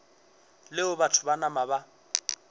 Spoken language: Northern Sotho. leo batho ba nama ba